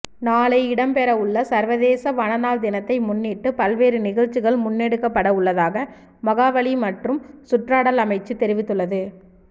நாளை இடம்பெறவுள்ள சர்வதேச வனநாள் தினத்தை முன்னிட்டு பல்வேறு நிகழ்ச்சிகள் முன்னெடுக்கப்படவுள்ளதாக மகாவலி மற்றும் சுற்றாடல் அமைச்சு தெரிவித்துள்ளது